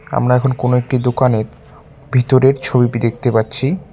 আমরা এখন কোনো একটি দোকানের ভিতরের ছবিপি দেখতে পাচ্ছি।